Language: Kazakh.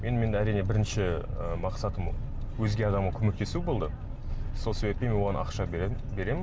енді мен әрине бірінші ыыы мақсатым өзге адамға көмектесу болды сол себеппен мен оған ақша беремін